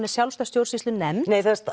er sjálfstæð stjórnsýslunefnd nei